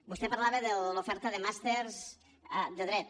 vostè parlava de l’oferta de màsters de dret